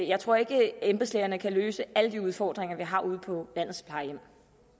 jeg tror ikke at embedslægerne kan løse alle de udfordringer vi har ude på landets plejehjem